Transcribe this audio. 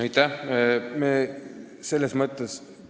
Aitäh!